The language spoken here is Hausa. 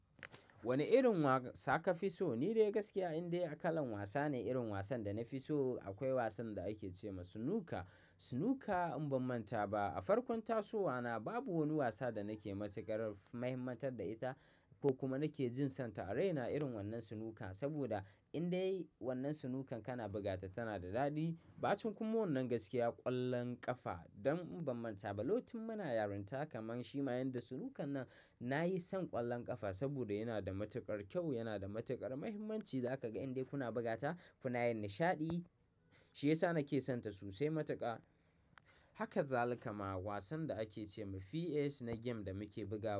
Wani irin wasa ka fi so? Ni dai gaskiya indai akalan wasa ne irin wasan da na fi so. Akwai wasan da ake ce ma sunuka. Sunuka in ban manta ba a farkon tasowa na babu wani wasa da nake matukar mahimmantar da ita ko kuma nake jin sonta. A raina irin wannan sunukan saboda indai wannan sunukan kana bugata tana da daɗi. Bacin kuma wannan gaskiya ƙwallon ƙafa don in ban manta ba, locin muna yarinta kamar shi ma yadda sunukan nan na yi son ƙwallon ƙafa saboda yana da matuƙar kyau, yana da matuƙar mahimmanci. Zaka ga indai kuna bugata kuna yin nishaɗi. Shi yasa nake sonta sosai matuƙa. Haka zalika ma wasan da ake ce ma PS na game da muke buga.